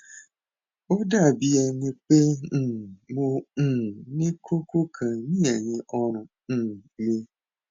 ó dàbí ẹni pé um mo um ní kókó kan ní ẹyìn ọrùn um mi